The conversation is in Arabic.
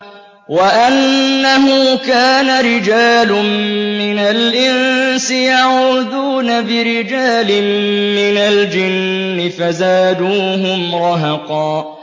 وَأَنَّهُ كَانَ رِجَالٌ مِّنَ الْإِنسِ يَعُوذُونَ بِرِجَالٍ مِّنَ الْجِنِّ فَزَادُوهُمْ رَهَقًا